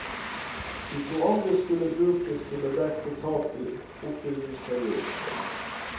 De to andre skulle brukes til å dekke tap i oppbyggingsperioden.